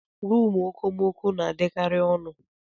Rumụ okomoko na-adịkari ọnụ.